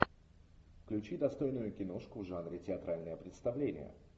включи достойную киношку в жанре театральное представление